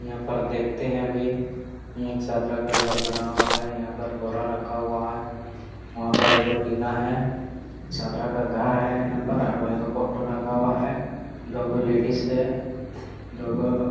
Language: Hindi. यहाँ पर देखते है अभी ईट - चदरा का घर बना हुआ है यहाँ पर बोरा रखा हुआ है वहाँ पर एक टीना है। चदरा का घर है यहाँ पर एक गो फोटो लगा हुआ है। दो गो लेडीज है दो गो --